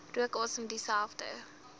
rook asem dieselfde